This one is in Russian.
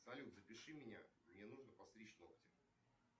салют запиши меня мне нужно подстричь ногти